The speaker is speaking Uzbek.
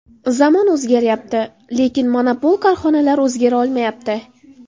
Zamon o‘zgaryapti, lekin monopol korxonalar o‘zgara olmayapti.